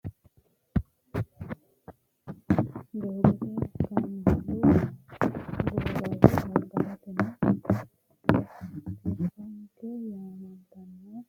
Doogote kaamellu gawajjo gargaritano tiraafike yaamantanno, noohuno doogotte aana ikkana wolu manino badhe'nsanni dogote haranni afamano, wolurino haqqeno ijjarunno leellano